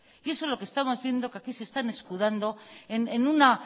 y eso es lo que están haciendo que aquí se están escudando en una